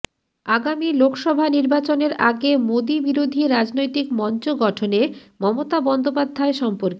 আগামী লোকসভা নির্বাচনের আগে মোদী বিরোধী রাজনৈতিক মঞ্চ গঠনে মমতা বন্দ্যোপাধ্যায় সম্পর্কে